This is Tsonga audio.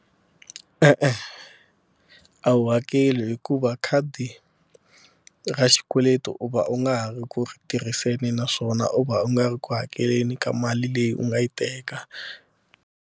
E-e a wu hakeli hikuva khadi ra xikweleti u va u nga ha ri ku tirhiseni naswona u va u nga ri ku hakeleni ka mali leyi u nga yi teka.